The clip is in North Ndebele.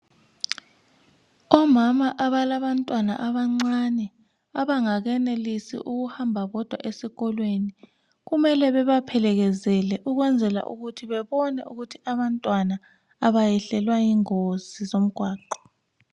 Omama abalabantwana abancane abangakenelisi ukuhamba bodwa esikolweni kumele bebaphelekezele ukuze bebone ukuthi abantwana abayehlelwa yingozi zomgwaqo.